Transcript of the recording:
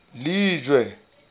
lejwe